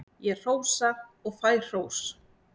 Ég hrósa og fæ hrós.